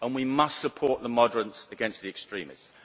We must support the moderates against the extremists.